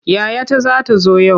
Yayata za ta zo yau.